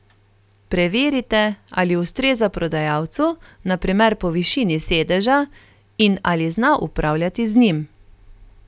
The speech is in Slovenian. Preverite, ali ustreza prodajalcu, na primer po višini sedeža, in ali zna upravljati z njim.